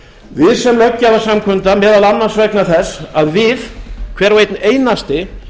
við sem löggjafarsamkunda meðal annars vegna þess að við hver og einn einasti